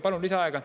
Palun lisaaega.